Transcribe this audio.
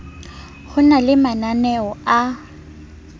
ho na le mananeo a